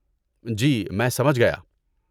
جی میں سمجھ گیا۔